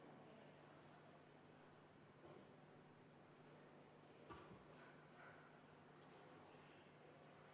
Nii, mu väga südikad, aga kurvastavalt kangekaelsed kolleegid!